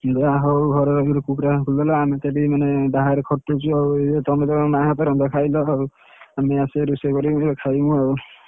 ଯାହା ହଉ ଘରେ ରହିକି କୁକୁଡ଼ା farm ଖୋଲିଦେଲ ଆମେ ତ ମାନେ ବାହାରେ ଖଟୁଚୁ ଆଉ ତମେ ତମ ମାଆ ହାତ ରନ୍ଧା ଖାଇଲ, ଆମେ ଆସିବୁ ପୁଣି ରୋଷେଇ କରିବୁ ଖାଇବୁ ଆଉ।